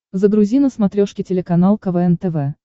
загрузи на смотрешке телеканал квн тв